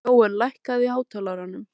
Jóel, lækkaðu í hátalaranum.